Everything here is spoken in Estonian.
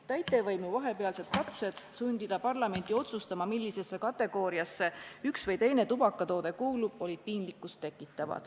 Täitevvõimu vahepealsed katsed sundida parlamenti otsustama, millisesse kategooriasse üks või teine tubakatoode kuulub, tekitasid piinlikkust.